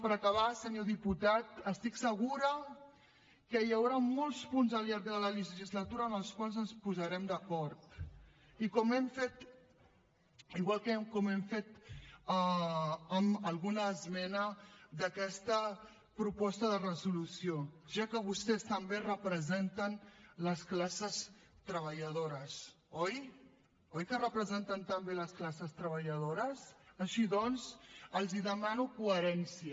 per acabar senyor diputat estic segura que hi haurà molts punts al llarg de la legislatura en els quals ens posarem d’acord i igual que hem fet amb alguna esmena d’aquesta proposta de resolució ja que vostès també representen les classes treballadores oi oi que representen també les classes treballadores així doncs els demano coherència